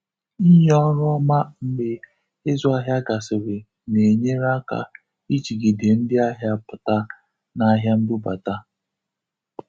Inye ọrụ ọma mgbe izụ ahịa gasịrị na-enyere aka ijigide ndị ahịa pụta na ahịa mbubata.